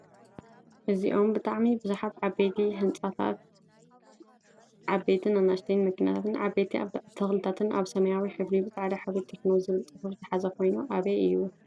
አዝዮም ብጣዕሚ ብዙሓት ዓበይቲ ህንፃታትን ዓበይትን ኣናእሽተይን መኪናታትን ዓበይቲ ተክልታትን ኣብ ሰማያዊ ሕብሪ ብፃዕዳ ሕብሪ ቴክኖ ዝብል ፅሑፍ ዝሓዘ ኮይኑ ኣበይ እዩ?